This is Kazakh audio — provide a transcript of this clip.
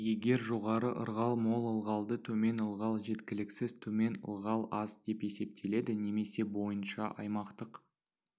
егер жоғары ылғал мол ылғалды төмен ылғал жеткіліксіз төмен ылғал аз деп есептеледі немесе бойынша аймақтық